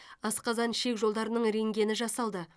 асқазан ішек жолдарының рентгені жасалды